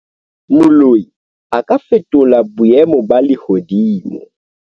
Moloi a ka fetola boemo ba lehodimo.